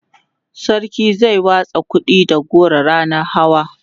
sarki zai watsa kuɗi da goro ranan hawa